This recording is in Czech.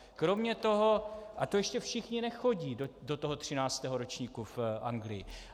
Kromě toho - a to ještě všichni nechodí do toho třináctého ročníku v Anglii.